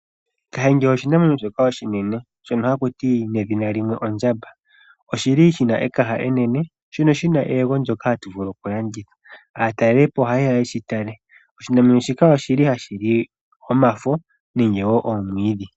Kahenge oshinamwenyo shoka oshinene shoka haku ti wa ondjamba. Oshi na etende enene, shono shi na eyego ndyoka hatu vulu okulanditha. Aatalelipo ohaye ya ye shi tale. Oshinamwenyo shika ohashi li omafo nenge wo oomwiidhi.